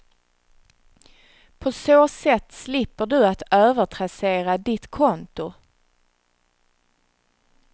På så sätt slipper du att övertrassera ditt konto.